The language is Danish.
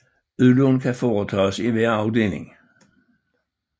Udlån kan foretages i hver afdeling